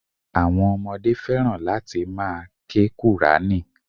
Àwọn ọmọdé fẹ́ràn láti ma ke qùrání.